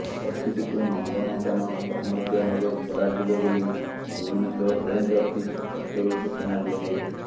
ପକ୍ଷୀଟିକୁ ନନ୍ଦନକାନନ ପ୍ରାଣୀ ଉଦ୍ୟାନରେ ଛଡାଯିବ ବୋଲି ଭୁବନେଶ୍ୱର ରେଞ୍ଜ ଅଫିସ ପକ୍ଷରୁ ସୂଚନା ଦିଆଯାଇଛି